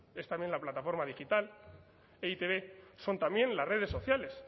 es también la plataforma digital e i te be son también las redes sociales